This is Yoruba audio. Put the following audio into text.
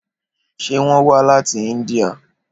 Ṣé wón wá láti Índíà?